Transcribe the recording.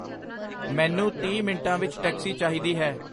ਮੈਨੂੰ ਤੀਹ ਮਿੰਟਾਂ ਵਿੱਚ ਟੈਕਸੀ ਚਾਹੀਦੀ ਹੈ